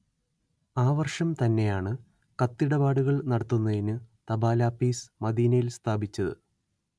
ആ വർഷം തന്നെയാണ് കത്തിടപാടുകൾ നടത്തുന്നതിനു തപാലാപ്പീസ് മദീനയിൽ സ്ഥാപിച്ചത്